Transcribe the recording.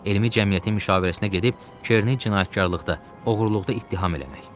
Elmi cəmiyyətin müşavirəsinə gedib Kerni cinayətkarlıqda, oğurluqda ittiham eləmək.